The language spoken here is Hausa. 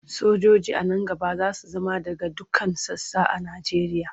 Sojoji a nan gaba za su zama daga dukkan sassa a Nigeria.